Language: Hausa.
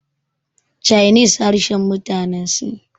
chinese harshen mutane sin